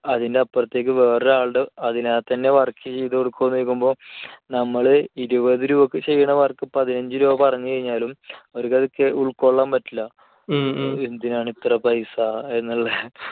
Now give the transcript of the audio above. അതിന്റെ അപ്പുറത്തേയ്ക്ക് വേറൊരാളുടെ അതിനാൽത്തന്നെ ചെയ്തുകൊടുക്കുമോ എന്ന് ചോദിക്കുമ്പോൾ നമ്മൾ ഇരുപത് രൂപയ്ക്ക് ചെയ്തുകൊടുക്കണ work ഇപ്പോൾ പതിനഞ്ചുരൂപ പറഞ്ഞുകഴിഞ്ഞാലും അവർക്കത് ഉൾക്കൊള്ളാൻ പറ്റില്ല. എന്തിനാണിത്ര പൈസ എന്നുള്ള